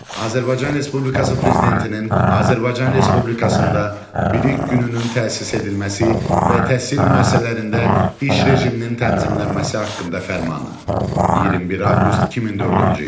Azərbaycan Respublikası Prezidentinin Azərbaycan Respublikasında bilik gününün təsis edilməsi və təhsil müəssisələrində iş rejiminin tənzimlənməsi haqqında fərmanı, 21 avqust 2004-cü il.